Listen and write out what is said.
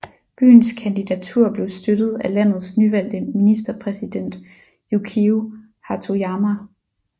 Byens kandidatur blev støttet af landets nyvalgte ministerpræsident Yukio Hatoyama